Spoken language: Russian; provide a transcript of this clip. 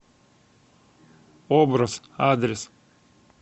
образ адрес